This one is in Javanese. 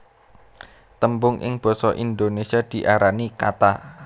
Tembung ing basa Indonésia diarani kata